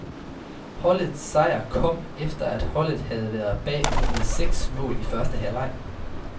Holdets sejr kom, efter at holdet havde været bagud med seks mål i første halvleg.